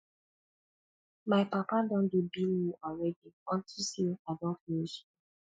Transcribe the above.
my papa don dey bill me already unto say i don finish school